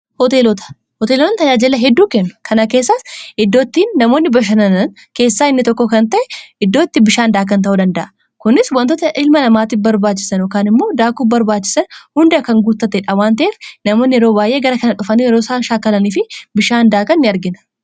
Hoteelota:-Hoteelonni tajaajila hedduu kennu. Kana keessaas iddoo itti namoonni bashannanan keessaa inni tokko kan ta'e iddoo itti bishaan daakan ta'uu danda'a. Kunis wantoota ilma namaatiif barbaachisan yookaan immoo daakuu barbaachisan hunda kan guuttatedha. waanta'eef namoonni yeroo baay'ee gara kana dhufanii yeroo isaan shaakalaniifi bishaan daakan ni'argina.